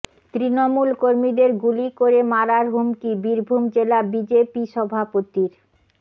তৃণমূল কর্মীদের গুলি করে মারার হুমকি বীরভূম জেলা বিজেপি সভাপতির